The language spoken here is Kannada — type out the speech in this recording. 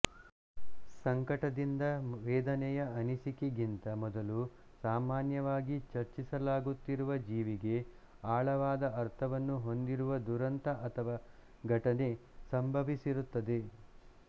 ಸಂಕಟದಿಂದ ವೇದನೆಯ ಅನಿಸಿಕೆಗಿಂತ ಮೊದಲು ಸಾಮಾನ್ಯವಾಗಿ ಚರ್ಚಿಸಲಾಗುತ್ತಿರುವ ಜೀವಿಗೆ ಆಳವಾದ ಅರ್ಥವನ್ನು ಹೊಂದಿರುವ ದುರಂತ ಅಥವಾ ಘಟನೆ ಸಂಭವಿಸಿರುತ್ತದೆ